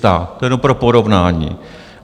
To jenom pro porovnání.